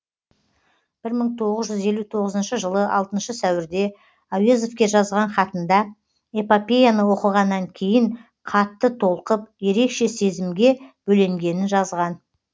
бір мың тоғыз жүз елу тоғызыншы жылы алтыншы сәуірде әуезовке жазған хатында эпопеяны оқығаннан кейін қатты толқып ерекше сезімге беленгенін жазған